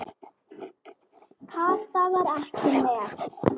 Kata var ekki með.